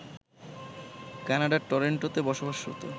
কানাডার টরন্টোতে বসবাসরত